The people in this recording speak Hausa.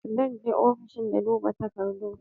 Zan je ofishin na duba takardun